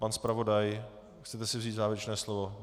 Pane zpravodaji, chcete si vzít závěrečné slovo?